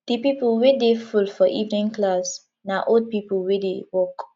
di pipo wey dey full for evening class na old pipo wey dey work